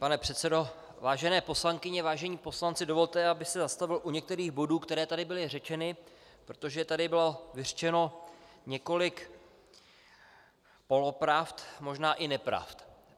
Pane předsedo, vážené poslankyně, vážení poslanci, dovolte, abych se zastavil u některých bodů, které tady byly řečeny, protože tady bylo vyřčeno několik polopravd, možná i nepravd.